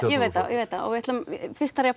ég veit það fyrst þarf ég